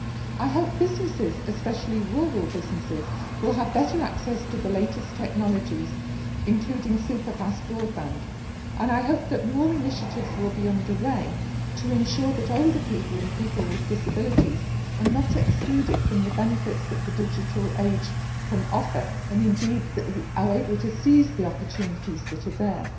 I hope businesses, especially rural businesses, will have better access to the latest technologies, including superfast broadband. I hope that more initiatives will be underway to ensure that older people and people with disabilities are not excluded from the benefits that the digital age can offer and indeed that they are able to seize the opportunities which are there.